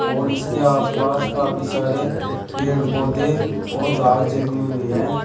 और इसके आसपास काफी सारे पेड़ पौधे और घास जमी हुई है।